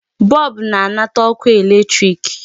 Bulb na-anata ọkụ electric.